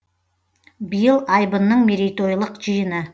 биыл айбынның мерейтойлық жиыны